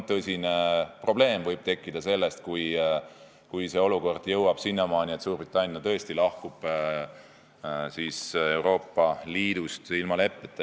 Neil võib tekkida tõsine probleem, kui olukord jõuab sinnamaani, et Suurbritannia tõesti lahkub Euroopa Liidust ilma leppeta.